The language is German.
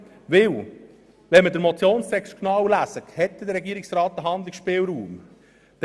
Wenn wir den Motionstext genau lesen, stellen wir fest, dass der Regierungsrat doch einen Handlungsspielraum hat.